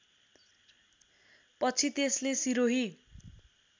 पछि त्यसले सिरोही